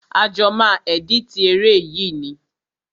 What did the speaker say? A jọ máa ẹ̀dítì eré yìí ni.